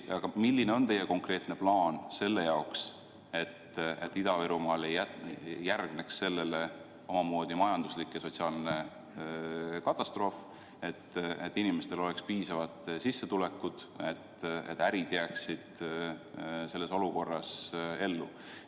Milline on teie konkreetne plaan, et Ida-Virumaal ei järgneks sellele majanduslik ja sotsiaalne katastroof, et inimestel oleks piisavad sissetulekud, et ärid jääksid ka selles olukorras ellu?